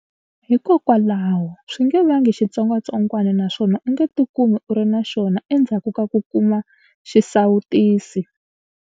Hikokwalaho, swi nge vangi xitsongwatsongwana na swona u nge tikumi u ri na xona endzhaku ka ku kuma xisawutisi.